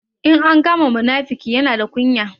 In an kama munafuki, Yana da kunya.